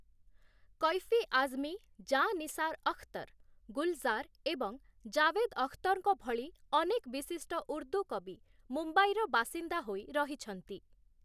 କୈଫି ଆଜମୀ, ଜାଁ ନିସାର ଅଖତର, ଗୁଲଜାର ଏବଂ ଜାଭେଦ ଅଖତରଙ୍କ ଭଳି ଅନେକ ବିଶିଷ୍ଟ ଉର୍ଦ୍ଦୁ କବି ମୁମ୍ବାଇର ବାସିନ୍ଦା ହୋଇ ରହିଛନ୍ତି ।